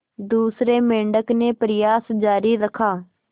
दूसरे मेंढक ने प्रयास जारी रखा